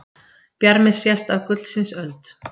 Bjarmi sést af gullsins öld.